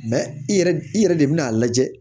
i yɛrɛ i yɛrɛ de bɛ n'a lajɛ